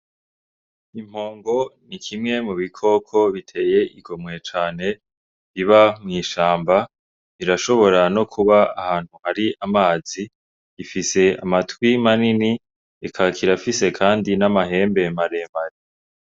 Impongo ni kimwe mu bikoko biteye igomwe cane. Biba mw'ishamba; birashobora no kuba ahantu hari amazi. Bifise amatwi manini, kikaba kirafise kandi n'amahembe maremare.